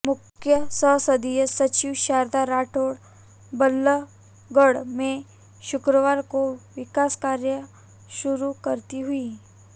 मुख्य संसदीय सचिव शारदा राठौर बल्लभगढ़ में शुक्रवार को विकास कार्य शुरू कराती हुईं